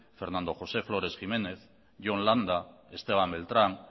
fernando josé flores jiménez jon landa esteban beltrán